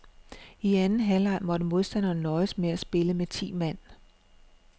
I anden halvleg måtte modstanderne nøjes med at spille med ti mand.